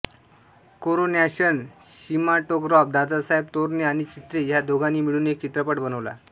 coronation cinematograph Dadasaheb Torne आणि चित्रे ह्या दोघांनी मिळून एक चित्रपट बनवला